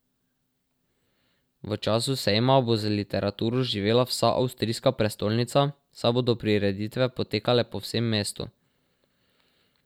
V času sejma bo z literaturo živela vsa avstrijska prestolnica, saj bodo prireditve potekale po vsem mestu.